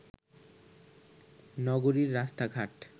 নগরীর রাস্তাঘাট